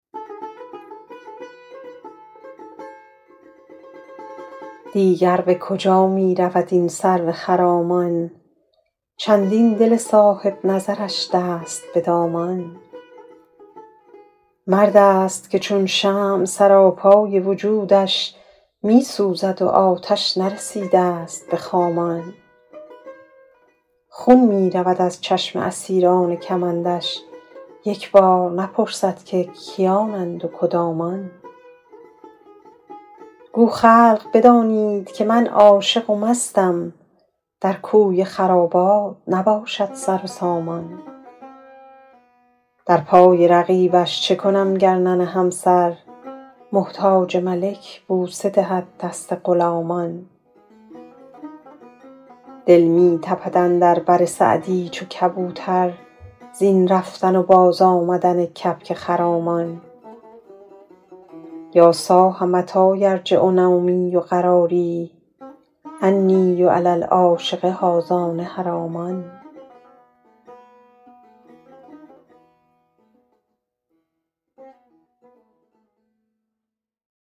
دیگر به کجا می رود این سرو خرامان چندین دل صاحب نظرش دست به دامان مرد است که چون شمع سراپای وجودش می سوزد و آتش نرسیده ست به خامان خون می رود از چشم اسیران کمندش یک بار نپرسد که کیانند و کدامان گو خلق بدانید که من عاشق و مستم در کوی خرابات نباشد سر و سامان در پای رقیبش چه کنم گر ننهم سر محتاج ملک بوسه دهد دست غلامان دل می تپد اندر بر سعدی چو کبوتر زین رفتن و بازآمدن کبک خرامان یا صاح متی یرجع نومی و قراری انی و علی العاشق هذان حرامان